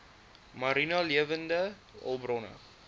mariene lewende hulpbronne